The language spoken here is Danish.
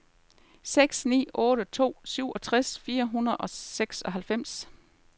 seks ni otte to syvogtres fire hundrede og seksoghalvfems